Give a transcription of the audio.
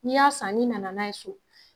N'i y'a san ni nana n'a ye so